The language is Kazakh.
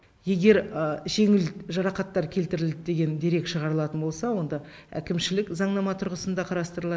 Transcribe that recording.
егер жеңіл жарақаттар келтірілді деген дерек шығарылатын болса онда әкімшілік заңнама тұрғысында қарастырылады